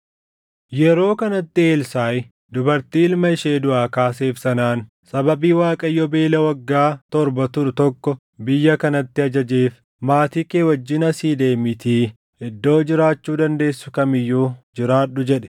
Yeroo kanatti Elsaaʼi dubartii ilma ishee duʼaa kaaseef sanaan, “Sababii Waaqayyo beela waggaa torba turu tokko biyya kanatti ajajeef, maatii kee wajjin asii deemiitii iddoo jiraachuu dandeessu kam iyyuu jiraadhu” jedhe.